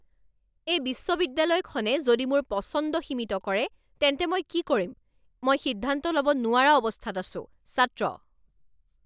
এই বিশ্ববিদ্যালয়খনে যদি মোৰ পচন্দ সীমিত কৰে তেন্তে মই কি কৰিম? মই সিদ্ধান্ত ল'ব নোৱৰা অৱস্থাত আছো ছাত্ৰ